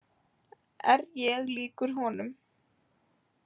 Er ég líkur honum?